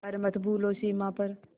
पर मत भूलो सीमा पर